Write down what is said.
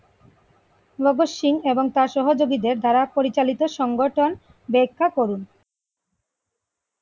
ভগৎ সিং এবং তার সহযোগীদের দ্বারা পরিচালিত সংগঠন ব্যাখ্যা করুন?